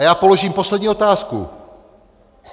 A já položím poslední otázku.